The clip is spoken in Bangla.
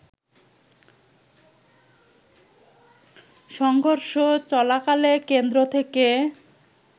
সংঘর্ষচলাকালে কেন্দ্র থেকে